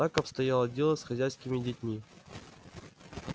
так обстояло дело с хозяйскими детьми